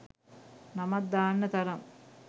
නමක් දාන්න තරම්